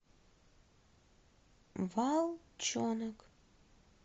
волчонок